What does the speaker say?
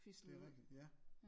Det er rigtigt ja